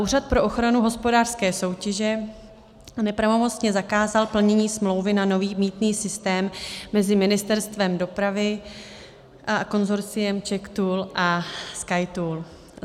Úřad pro ochranu hospodářské soutěže nepravomocně zakázal plnění smlouvy na nový mýtný systém mezi Ministerstvem dopravy a konsorciem CzechToll a SkyToll.